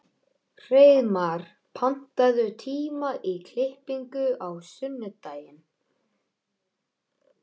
Hreiðmar, pantaðu tíma í klippingu á sunnudaginn.